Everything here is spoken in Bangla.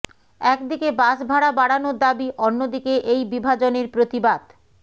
একদিকে বাসভাড়া বাড়ানোর দাবি অন্য দিকে এই বিভাজনের প্রতিবাদ